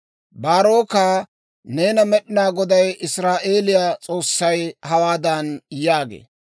«Baaroka, neena Med'inaa Goday, Israa'eeliyaa S'oossay hawaadan yaagee;